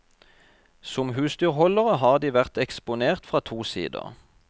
Som husdyrholdere har de vært eksponert fra to sider.